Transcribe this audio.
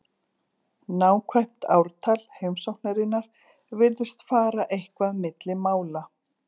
Nákvæmt ártal heimsóknarinnar virðist fara eitthvað milli mála.